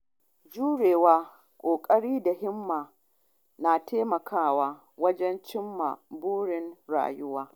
Juriya, ƙoƙari da ba da himma na taimakawa wajen cimma burin rayuwa.